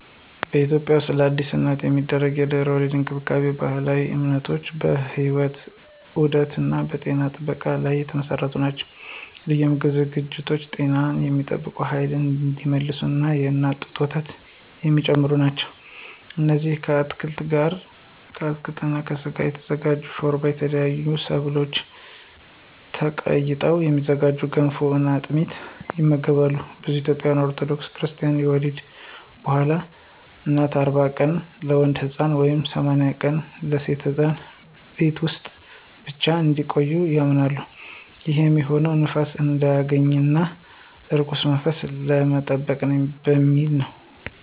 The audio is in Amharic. በኢትዮጵያ ውስጥለአዲስ እናት የሚደረጉ የድህረ-ወሊድ እንክብካቤዎች በባህላዊ እምነቶች፣ በሕይወት ዑደት እና በጤና ጥበቃ ላይ የተመሰረቱ ናቸው። ልዩ የምግብ ዝግጅቶች ጤናን የሚጠብቁ፣ ኃይላቸውን እንዲመልሱ እና የእናት ጡት ወተት የሚጨምሩ ናቸው። እነዚህም ከአትክልት እና ከስጋ የሚዘጋጅ ሾርባ፣ ከተለያዩ ሰብሎች ተቀይጠው የሚዘጋጁ ገንፎ እና አጥሚት ይመገባሉ። ብዙ ኢትዮጵያውያን ኦርቶዶክስ ክርስታኖች ከወሊድ በኋላ እናት 40 ቀናት (ለወንድ ሕፃን) ወይም 80 ቀናት (ለሴት ሕፃን) ቤት ውስጥ ብቻ እንድትቆይ ያምናሉ። ይህም የሚሆነው ንፋስ እንዳያገኛት እና ከርኩስ መንፈስ ለመጠበቅ በሚል ነው።